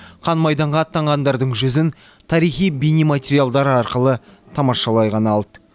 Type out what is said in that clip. қан майданға аттанғандардың жүзін тарихи бейнематериалдар арқылы тамашалай ғана алды